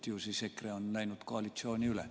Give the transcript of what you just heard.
Ju siis EKRE on läinud koalitsiooni üle.